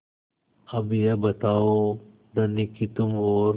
अब यह बताओ धनी कि तुम और